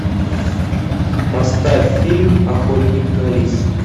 поставь фильм охотник на лис